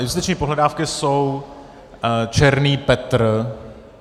Justiční pohledávky jsou černý Petr.